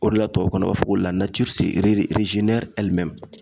O de la tubabukan na o b'a fɔ ko la natiri se rere rezenɛri ɛli mɛmu